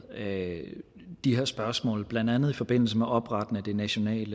de her spørgsmål blandt andet i forbindelse med oprettelsen af nationalt